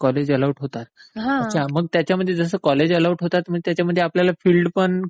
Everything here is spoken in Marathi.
कॉलेज अलोट होते मग त्याच्यामध्ये आपल्याला फिल्ड पण?